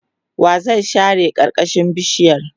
wa zai share karkashin bishiyar?